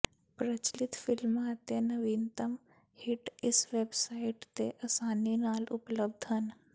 ਪ੍ਰਚਲਿਤ ਫਿਲਮਾਂ ਅਤੇ ਨਵੀਨਤਮ ਹਿੱਟ ਇਸ ਵੈਬਸਾਈਟ ਤੇ ਅਸਾਨੀ ਨਾਲ ਉਪਲਬਧ ਹਨ